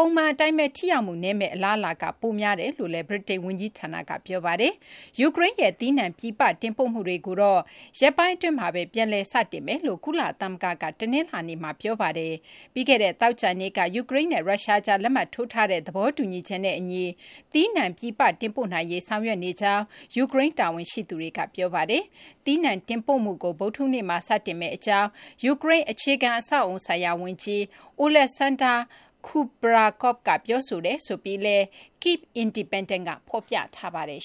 ပုံမှန် အတိုင်းဘဲ ထိရောက်မှု နည်းမယ့် အလားအလာ ပိုများကြောင်း ဗြိတိန် ဝန်ကြီးဌာနက ပြောပါတယ်။ ယူကရိန်းရဲ့ သီးနှံ ပြည်ပ တင်ပို့မှုတွေကိုတော့ ရက်ပိုင်း အတွင်းမှာဘဲ ပြန်လည် စတင်မယ်လို့ ကုလသမဂ္ဂက တနလာၤနေ့မှာ ပြောပါတယ်။ ပြီးခဲ့တဲ့ သောကြာနေ့က ယူကရိန်းနဲ့ ရုရှားကြား လက်မှတ်ထိုးထားတဲ့ သဘောတူညီချက်နဲ့ အညီ သီးနှံ ပြည်ပ တင်ပို့နိုင်ရေး ဆောင်ရွက်နေကြောင်း ယူကရိန်း တာဝန်ရှိသူတွေက ပြောဆိုထားပါတယ်။ သီနှံ တင်ပို့မှုကို ဗုဒ္ဓဟူးနေ့မှာ စတင်မယ့် အကြောင်း ယူကရိန်း အခြေခံ အဆောက်အအုံဆိုင်ရာ ဝန်ကြီး Oleksandr Kubrakov က ပြောဆိုကြောင်း Kyiv Independent က ဖော်ပြထားပါတယ်